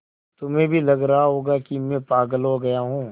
तुम्हें भी लग रहा होगा कि मैं पागल हो गया हूँ